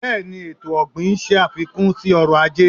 B́èẹ ni, ètò ọ̀gbìn ń ṣàfikún sí ọrọ̀-ajé.